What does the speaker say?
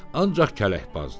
Ancaq kələkbazdır.